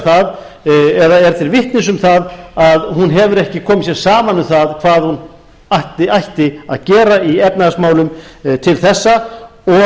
það eða er til vitnis um að hún hefur ekki komið sér saman um hvað ætti að gera í efnahagsmálum til þessa og